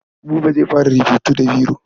Buba zai fara rubutu da biro.